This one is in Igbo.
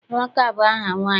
Amaka bụ aha nwaanyị.